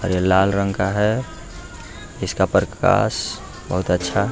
और यह लाल रंग का है इसका प्रकाश बहुत अच्छा --